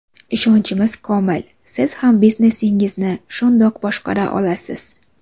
Ishonchimiz komil, siz ham biznesingizni shundoq boshqara olasiz.